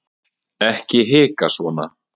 ekki hika svona